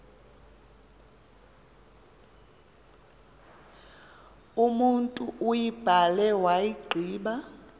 umotu uyibhale wayigqiba